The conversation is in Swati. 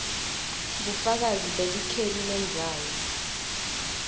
bufakazi belikheli lendzawo